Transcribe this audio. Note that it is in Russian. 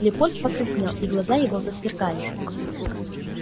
лепольд покраснел и глаза его засверкали